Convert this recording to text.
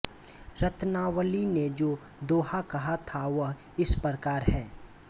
रत्नावली ने जो दोहा कहा था वह इस प्रकार है